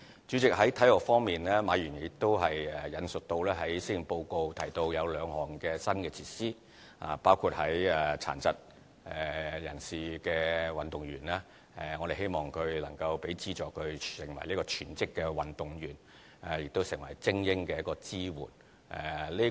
主席，在體育方面，馬議員亦引述在施政報告提到有兩項新措施，包括對於殘疾運動員，我們希望能提供資助讓他們成為全職的運動員，亦成為精英的支援。